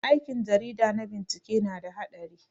Aikin jarida na bincike na da haɗari.